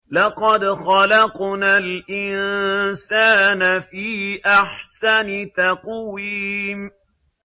لَقَدْ خَلَقْنَا الْإِنسَانَ فِي أَحْسَنِ تَقْوِيمٍ